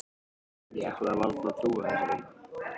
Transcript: Ég ætlaði varla að trúa þessu.